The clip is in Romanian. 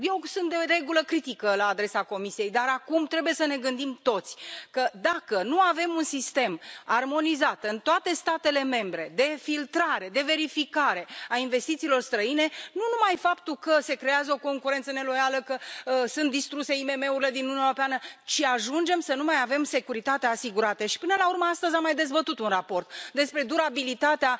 Eu sunt, de regulă, critică la adresa Comisiei, dar acum trebuie să ne gândim toți că, dacă nu avem un sistem armonizat, în toate statele membre, de filtrare, de verificare a investițiilor străine, nu numai că se creează o concurență neloială, că sunt distruse IMM urile din Uniunea Europeană, ci ajungem să nu mai avem securitatea asigurată și, până la urmă, astăzi am mai dezbătut un raport, despre durabilitatea